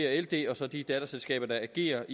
ld og så de datterselskaber der agerer